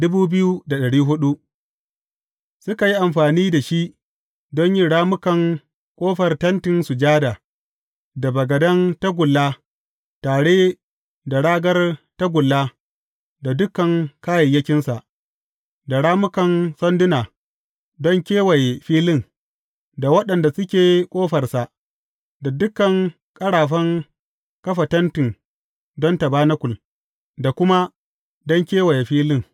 Suka yi amfani da shi don yin rammukan ƙofar Tentin Sujada, da bagaden tagulla tare da ragar tagulla da dukan kayayyakinsa, da rammukan sanduna don kewaye filin, da waɗanda suke ƙofarsa, da dukan ƙarafan kafa tenti don tabanakul, da kuma don kewaye filin.